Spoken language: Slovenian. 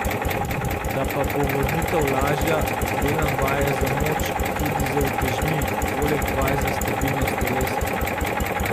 Da pa bo vrnitev lažja, delam vaje za moč, tudi z utežmi, poleg vaj za stabilnost telesa.